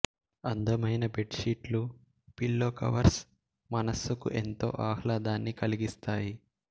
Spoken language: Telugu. అందమైన బెడ్ షీట్లు పిల్లో కవర్స్ మనస్సుకు ఎంతో ఆహ్లాదాన్ని కలిగిస్తాయి